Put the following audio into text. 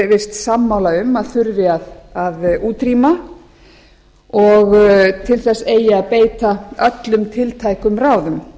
virst sammála um að þurfi að útrýma og til þess eigi að beita öllum tiltækum ráðum